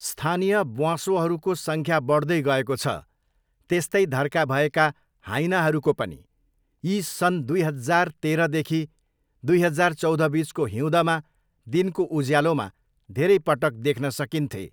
स्थानीय ब्वाँसोहरूको सङ्ख्या बढ्दै गएको छ, त्यस्तै धर्का भएका हाइनाहरूको पनि। यी सन् सन् दुई हजार तेह्रदेखि दुई हजार चौधबिचको हिउँदमा दिनको उज्यालोमा धेरैपटक देख्न सकिन्थे।